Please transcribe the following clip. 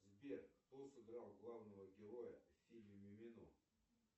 сбер кто сыграл главного героя в фильме мимино